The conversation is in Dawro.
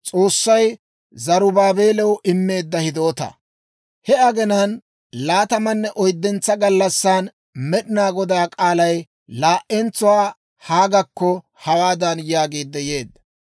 He agenaan laatamanne oyddentso gallassan Med'inaa Godaa k'aalay laa"entsuwaa Haagekko hawaadan yaagiid yeedda;